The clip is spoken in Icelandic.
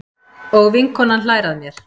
Og vinkonan hlær að mér.